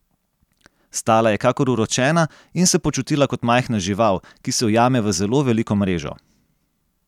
Stala je kakor uročena in se počutila kot majhna žival, ki se ujame v zelo veliko mrežo.